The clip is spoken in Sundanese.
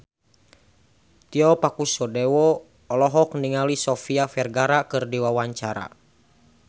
Tio Pakusadewo olohok ningali Sofia Vergara keur diwawancara